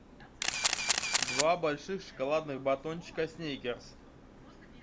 два больших шоколадных батончика сникерс